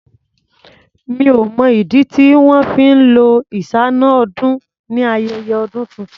Mi ò mọ̀ ìdí tí wọn fí ń lo iṣáná-ọdún ni ayẹyẹ ọdún tuntun.